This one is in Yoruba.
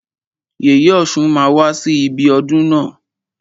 Yèyè ọ̀ṣun máa wá sí ibi ọdún na.